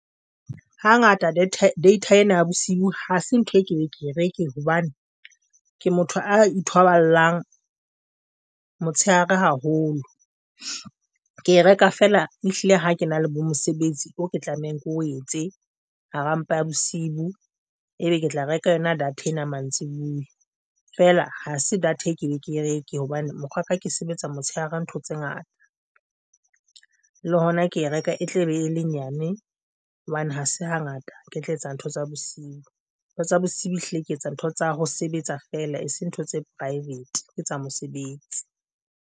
Hangata data ena ya bosiu hase ntho enke ke e reke hobane ke motho a ithoballang motshehare haholo. Ke e reka fela e hlile ha ke na le bo mosebetsi e ke tlamehang ke o etse hara mpa ya bosiu e be ke tla reka yona data ena mantsibuya, fela ha se data ke be ke reke hobane mokgwaka ke sebetsa motshehare ntho tse ngata, le hona ke reka e tle e be e lenyane hobane ha se hangata ke tla etsa ntho tsa bosiu ntho tsa bosiu hlile ke etsa ntho tsa ho sebetsa fela e se ntho tse private ke tsa mosebetsi.